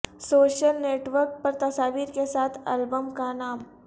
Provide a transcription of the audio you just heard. social network پر تصاویر کے ساتھ البم کا نام